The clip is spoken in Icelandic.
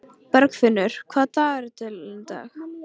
Bergfinnur, hvað er í dagatalinu í dag?